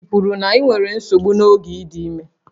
Ị kwuru na ị nwere nsogbu n'oge ị dị ime?